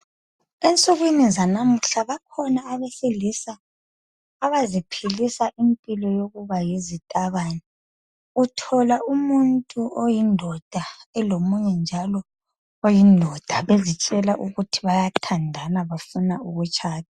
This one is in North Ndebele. Ensukwini zanamuhla bakhona abesilisa abaziphilisa impilo yokuba yizitabane, uthola umuntu oyindoda elomunye njalo oyindoda bezitshela ukuthi bayathandana bafuna ukutshada.